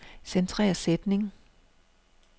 Centrer sætning.